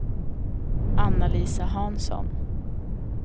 Anna-Lisa Hansson